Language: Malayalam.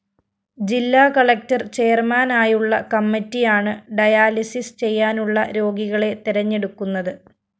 ജില്ലാ കളക്ടർ ചെയര്‍മാനായുള്ള കമ്മറ്റിയാണ് ഡയാലിസിസ്‌ ചെയ്യാനുള്ള രോഗികളെ തെരഞ്ഞെടുക്കുന്നത്